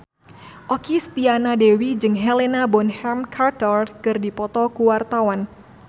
Okky Setiana Dewi jeung Helena Bonham Carter keur dipoto ku wartawan